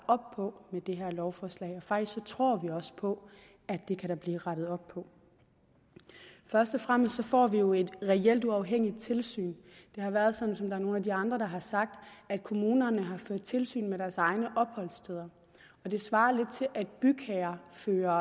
op på med det her lovforslag og faktisk tror vi også på at det kan der blive rettet op på først og fremmest får vi jo et reelt uafhængigt tilsyn det har været sådan som nogle af de andre har sagt at kommunerne har ført tilsyn med deres egne opholdssteder og det svarer lidt til at bygherrer fører